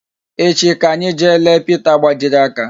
Echi ka anyi jee leta Pita gbajiri aka